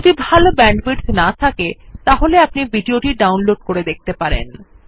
যদি ভাল ব্যান্ডউইডথ না থাকে তাহলে আপনি ভিডিও টি ডাউনলোড করে দেখতে পারেন